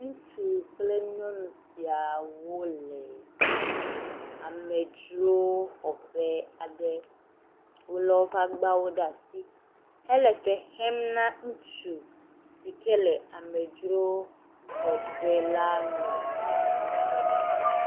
Ŋutsu kple nyɔnu siawo le amedzrowoxɔƒe aɖe. Wo le woƒe agbawo ɖe asi hele fe xem na ŋutsu si ke le amedzroxɔƒe la nu la.